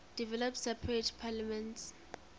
developed separate parliaments